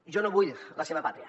jo no vull la seva pàtria